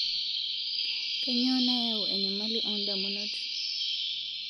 Kainyoo nayau enyamali oo ndamunot